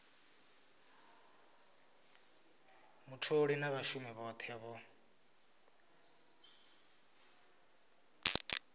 mutholi na vhashumi vhothe vho